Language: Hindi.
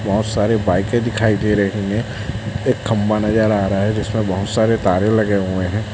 बहुत सारे बाईकें दिखाई दे रही हैं एक खंभा नजर आ रहा है जिसमें बहुत सारे तारें लगे हुए हैं।